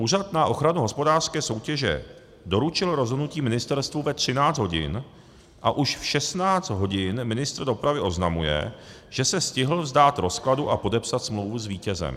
Úřad na ochranu hospodářské soutěže doručil rozhodnutí ministerstvu ve 13 hodin, a už v 16 hodin ministr dopravy oznamuje, že se stihl vzdát rozkladu a podepsat smlouvu s vítězem.